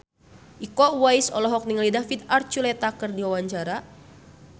Iko Uwais olohok ningali David Archuletta keur diwawancara